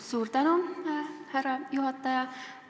Suur tänu, härra juhataja!